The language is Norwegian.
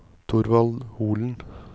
Thorvald Holen